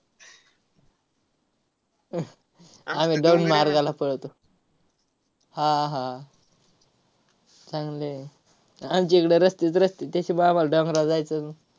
आम्ही मार्गाला पळतो. हा, हा. चांगलं आहे. आमची इकडं रस्तेच रस्ते. त्याच्याम~ आम्हाला डोंगराला जायचं